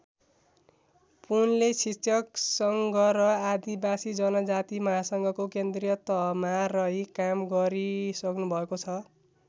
पुनले शिक्षक सङ्घ र आदिवासी जनजाति महासङ्घको केन्द्रीय तहमा रही काम गरिसक्नुभएको छ।